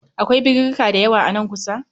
Akwai birirrika dayawa a nan kusa